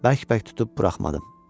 Bərk-bərk tutub buraxmadım.